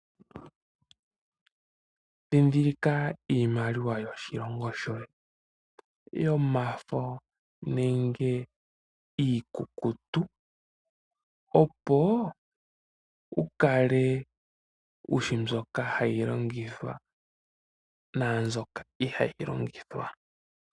Dhindhilika iimaliwa yo shilongo shoye, yo mafo nenge iikukutu opo wukale wushi mbyoka ha yi longithwa naa mbyoka ihaa yi longithwa.